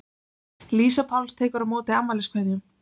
Lísa Páls tekur á móti afmæliskveðjum.